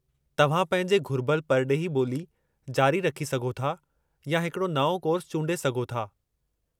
तव्हां पंहिंजे घुरिबल परडे॒ही ॿोली जारी रखी सघो था या हिकड़ो नओं कोर्सु चूंडे सघो था।